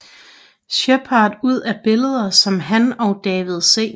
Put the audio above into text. Sheppard ud fra billeder som han og David C